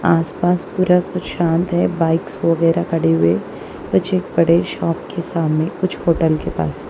आसपास पूरा कुछ शांत है बाइक्स वगैरह खड़े हुए कुछ एक बड़े शॉप के सामने कुछ होटल के पास।